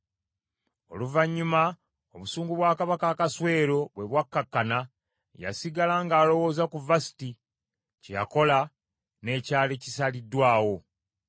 Oluvannyuma, obusungu bwa Kabaka Akaswero bwe bwakkakkana, yasigala ng’alowooza ku Vasuti, kye yakola, n’ekyali kisaliddwawo.